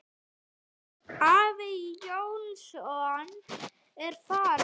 Afi Jónsson er farinn.